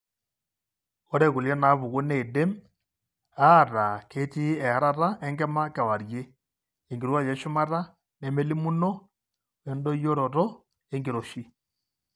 Ore kulie naapuku neidim aataa ketii earata enkima kewarie, enkirowuaj eshumata nemelimuno, oendoyioroto enkiroshi.